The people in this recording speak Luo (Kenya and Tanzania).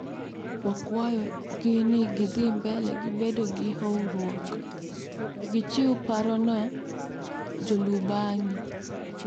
Wakwayo gi ni githimbele gi bedo gi horuok, gichiw paro ne jolubangi.